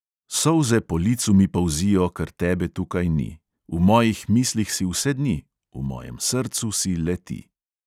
Solze po licu mi polzijo, ker tebe tukaj ni, v mojih mislih si vse dni, v mojem srcu si le ti.